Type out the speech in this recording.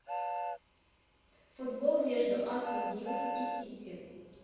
футбол между астон виллой и сити